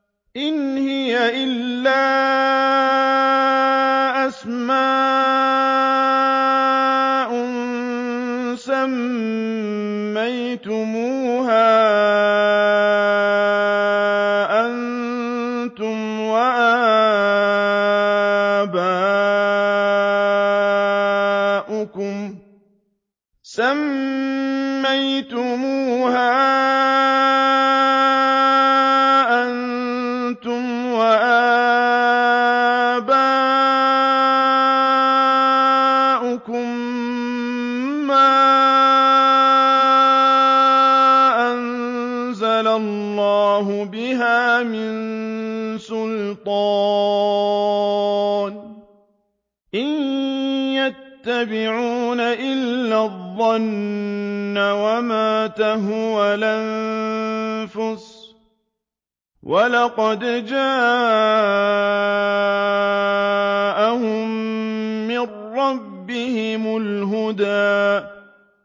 إِنْ هِيَ إِلَّا أَسْمَاءٌ سَمَّيْتُمُوهَا أَنتُمْ وَآبَاؤُكُم مَّا أَنزَلَ اللَّهُ بِهَا مِن سُلْطَانٍ ۚ إِن يَتَّبِعُونَ إِلَّا الظَّنَّ وَمَا تَهْوَى الْأَنفُسُ ۖ وَلَقَدْ جَاءَهُم مِّن رَّبِّهِمُ الْهُدَىٰ